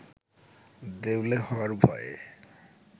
দেউলে হওয়ার ভয়ে